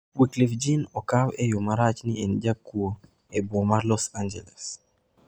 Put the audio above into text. Wyclef Jean okawe e yo marach ni en jakuo e boma ma Los Angeles